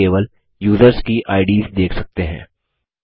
अब हम केवल युसर्स की आईडीएस देख सकते हैं